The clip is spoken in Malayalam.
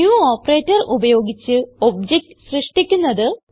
ന്യൂ ഓപ്പറേറ്റർ ഉപയോഗിച്ച് ഒബ്ജക്ട് സൃഷ്ടിക്കുന്നത്